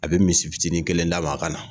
A bɛ misi fitinin kelen d'a ma a ka na